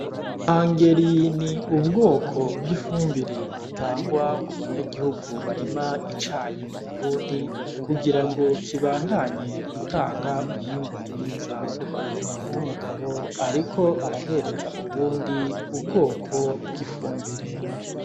Angering n'ubwoko bwifumbire itangwa ku banyagihugu barima icayi mu Burundi kugira ngo kibandanye gutanga umwimbu mwiza umuntu w'umugabo ariko arahereza uwundi ubwoko bw'ifumbire